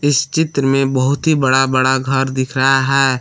इस चित्र में बहुत ही बड़ा बड़ा घर दिख रहा है।